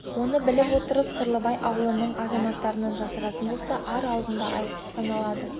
оны біліп отырып сырлыбай аулының азаматтарынан жасыратын болса ар алдында айыпты саналады